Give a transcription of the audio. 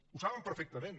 ho saben perfectament